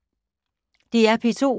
DR P2